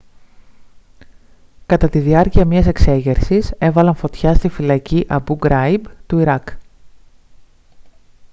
κατά τη διάρκεια μιας εξέγερσης έβαλαν φωτιά στη φυλακή αμπού γκράιμπ του ιράκ